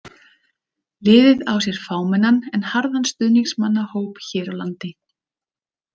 Liðið á sér fámennan en harðan stuðningsmannahóp hér á landi.